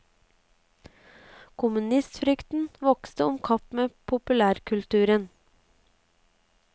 Kommunistfrykten vokste om kapp med populærkulturen.